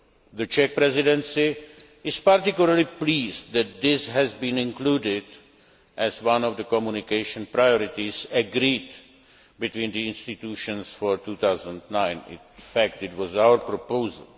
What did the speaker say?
The Czech Presidency is particularly pleased that this has been included as one of the communication priorities agreed between the institutions for 2009. In fact it was our proposal.